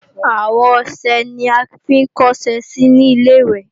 Àwo ọṣẹ là ń fi kó ọṣẹ sí ní Ilé-ìwẹ̀